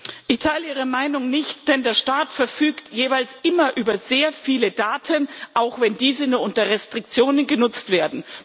Ich teile Ihre Meinung nicht, denn der Staat verfügt jeweils immer über sehr viele Daten, auch wenn diese nur unter Restriktionen genutzt werden.